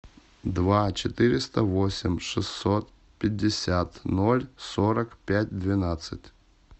два четыреста восемь шестьсот пятьдесят ноль сорок пять двенадцать